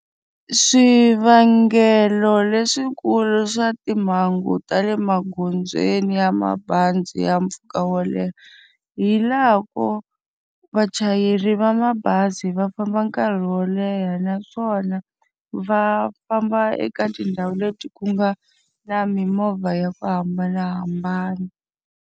Swivangelo leswikulu swa timhangu ta le magondzweni ya mabazi ya mpfhuka wo leha, hi laha ko vachayeri va mabazi va famba nkarhi wo leha naswona va famba eka tindhawu leti ku nga na mimovha ya ku hambanahambana.